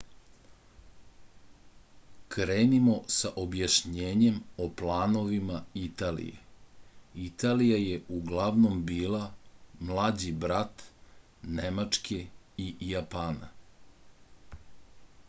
krenimo sa objašnjenjem o planovima italije italija je uglavnom bila mlađi brat nemačke i japana